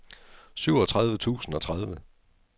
syvogtredive tusind og tredive